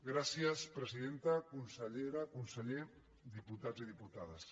gràcies presidenta consellera conseller diputats i diputades